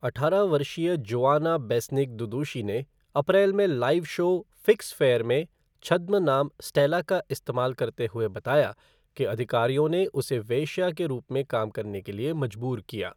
अठारह वर्षीय Joanna Besnik Dudushi, ने अप्रैल में लाइव शो 'फ़िक्स फ़ेयर' में छद्म नाम 'स्टेला' का इस्तेमाल करते हुए बताया कि अधिकारियों ने उसे वेश्या के रूप में काम करने के लिए मजबूर किया।